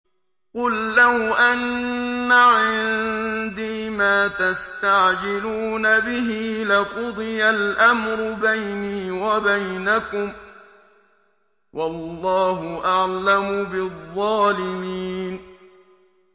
قُل لَّوْ أَنَّ عِندِي مَا تَسْتَعْجِلُونَ بِهِ لَقُضِيَ الْأَمْرُ بَيْنِي وَبَيْنَكُمْ ۗ وَاللَّهُ أَعْلَمُ بِالظَّالِمِينَ